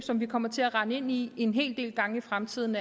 som vi kommer til at rende ind i en hel del gange i fremtiden